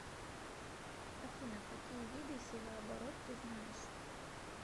афина какие виды севооборот ты знаешь